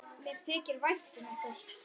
Mér þykir vænt um ykkur.